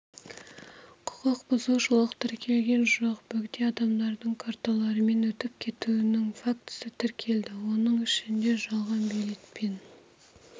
құқық бұзушылық тіркелген жоқ бөгде адамдардың карталарымен өтіп кетуінің фактісі тіркелді оның ішінде жалған билетпен